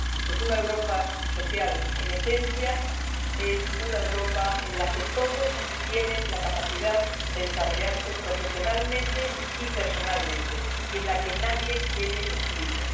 Pues una Europa social, en esencia, es una Europa en la que todos tienen la capacidad de desarrollarse profesionalmente y personalmente, y en la que nadie quede excluido.